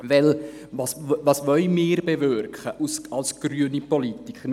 Denn was wollen wir als grüne Politiker bewirken?